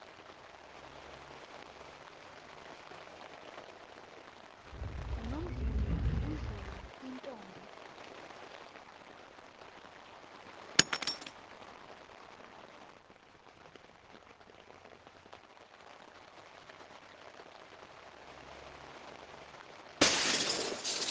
ngunomvuyo omvuyo yintombi